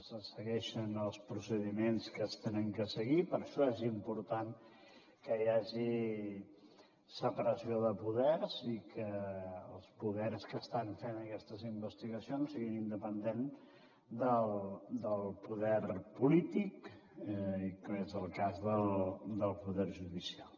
se segueixen els procediments que s’han de seguir per això és important que hi hagi separació de poders i que els poders que estan fent aquestes investigacions siguin independents del poder polític com és el cas del poder judicial